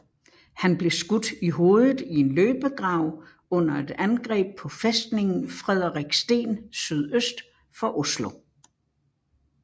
Han blev skudt i hovedet i en løbegrav under et angreb på fæstningen Frederiksten sydøst for Oslo